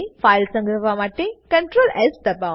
file સંગ્રહવા માટે ctrls દબાવો